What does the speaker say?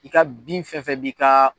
I ka bin fɛn fɛn b'i ka